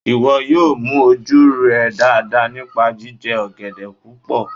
Iwọ yóò mú oju rẹ dara nipa jijẹ ogede pupọ